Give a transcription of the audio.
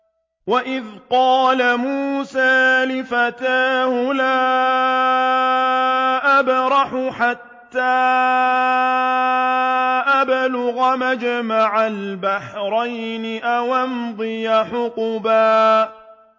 وَإِذْ قَالَ مُوسَىٰ لِفَتَاهُ لَا أَبْرَحُ حَتَّىٰ أَبْلُغَ مَجْمَعَ الْبَحْرَيْنِ أَوْ أَمْضِيَ حُقُبًا